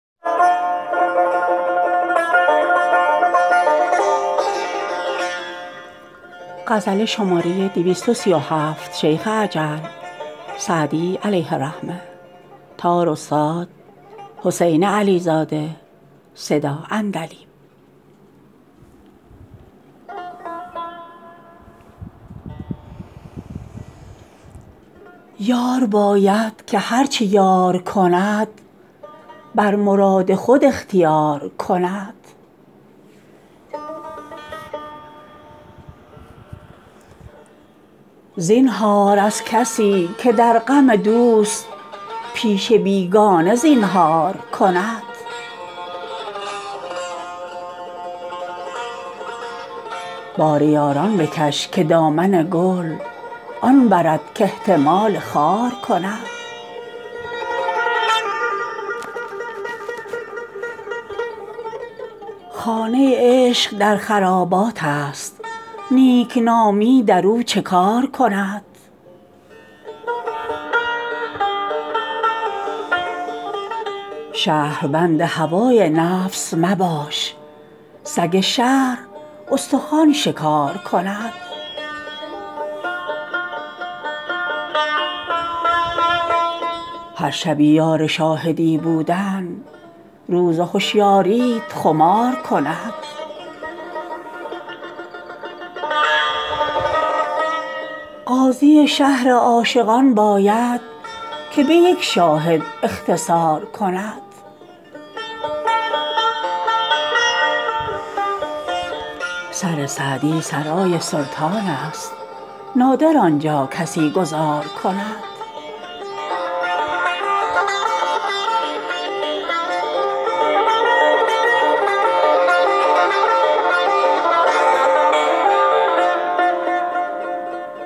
یار باید که هر چه یار کند بر مراد خود اختیار کند زینهار از کسی که در غم دوست پیش بیگانه زینهار کند بار یاران بکش که دامن گل آن برد کاحتمال خار کند خانه عشق در خراباتست نیکنامی در او چه کار کند شهربند هوای نفس مباش سگ شهر استخوان شکار کند هر شبی یار شاهدی بودن روز هشیاریت خمار کند قاضی شهر عاشقان باید که به یک شاهد اختصار کند سر سعدی سرای سلطانست نادر آن جا کسی گذار کند